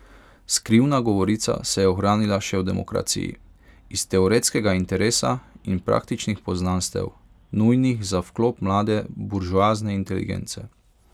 Skrivna govorica se je ohranila še v demokraciji, iz teoretskega interesa in praktičnih poznanstev, nujnih za vklop mlade buržoazne inteligence.